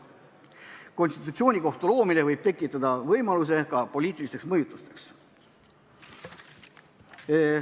Konstitutsioonikohtu loomine võib tekitada võimaluse poliitilisteks mõjutusteks.